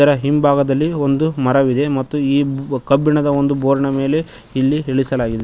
ಅದ ಹಿಂಭಾಗದಲ್ಲಿ ಒಂದು ಮರವಿದೆ ಮತ್ತು ಕಬ್ಬಿಣದ ಒಂದು ಬೋರ್ಡಿನ ಮೇಲೆ ಇದು ಇಳಿಸಲಾಗಿದೆ.